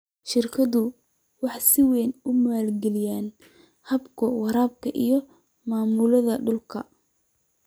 Shirkaduhu waxay si weyn u maalgaliyaan hababka waraabka iyo maamulka dhulka.